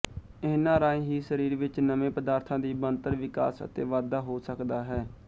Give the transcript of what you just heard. ਇਹਨਾਂ ਰਾਹੀਂ ਹੀ ਸਰੀਰ ਵਿੱਚ ਨਵੇਂ ਪਦਾਰਥਾਂ ਦੀ ਬਣਤਰ ਵਿਕਾਸ ਅਤੇ ਵਾਧਾ ਹੋ ਸਕਦਾ ਹੈ